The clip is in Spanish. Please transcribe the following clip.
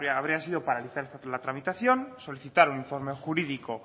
habría sido paralizar la tramitación solicitar un informe jurídico